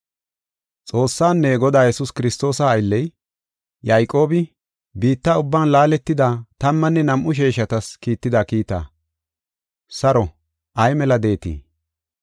Xoossaanne Godaa Yesuus Kiristoosa aylley, Yayqoobi, biitta ubban laaletida tammanne nam7u sheeshatas kiitida kiita. Saro, ay mela de7eetii?